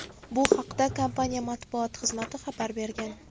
Bu haqda kompaniya matbuot xizmati xabar bergan .